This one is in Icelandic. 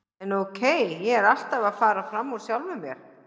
En ókei, ég er alltaf að fara fram úr sjálfum mér.